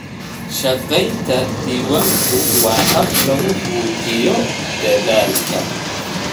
Shaqaynta diiwaanku waa hab lagu muujiyo dadaalka.